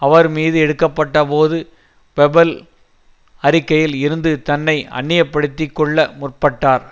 அவர்மீது எடுக்கப்பட்டபோது பெபல் அறிக்கையில் இருந்து தன்னை அந்நியப்படுத்திக்கொள்ள முற்பட்டார்